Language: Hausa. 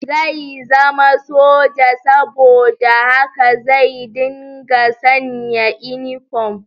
Zai zama soja, saboda haka zai dinga sanya inifom